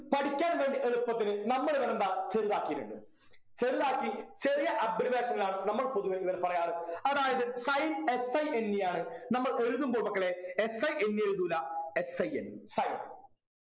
പഠിക്കാൻ വേണ്ടി എളുപ്പത്തില് നമ്മള് ഇതെന്താ ചെറുതാക്കീട്ടുണ്ട് ചെറുതാക്കി ചെറിയ abbreviation ലാണ് നമ്മൾ പൊതുവെ ഇവരെ പറയാറ് അതായത് sine s i n e ആണ് നമ്മൾ എഴുതുമ്പോ മക്കളെ s i n e എഴുതൂല s i nsin